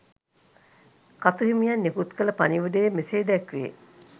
කතු හිමියන් නිකුත් කළ පණිවුඩයේ මෙසේ දැක්වේ.